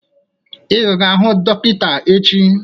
Ị ga-aga hụ dọkịta echi